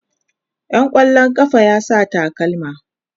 Yan kwallon kafa yana sa takalma.